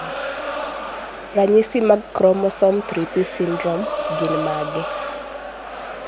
ranyisi mag chromosome 3p syndrome gin mage?